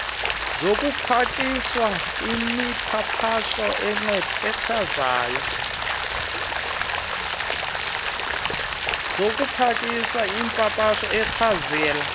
zokupakisha imipapasho echazela